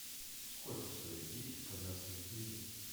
сколько стоит десять казахских тенге